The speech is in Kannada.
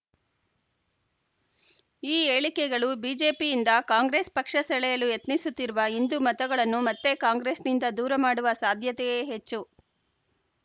ಈ ಹೇಳಿಕೆಗಳು ಬಿಜೆಪಿಯಿಂದ ಕಾಂಗ್ರೆಸ್‌ ಪಕ್ಷ ಸೆಳೆಯಲು ಯತ್ನಿಸುತ್ತಿರುವ ಹಿಂದು ಮತಗಳನ್ನು ಮತ್ತೆ ಕಾಂಗ್ರೆಸ್‌ನಿಂದ ದೂರ ಮಾಡುವ ಸಾಧ್ಯತೆಯೇ ಹೆಚ್ಚು